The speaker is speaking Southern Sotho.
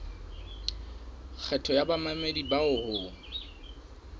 kgetho ya bamamedi bao ho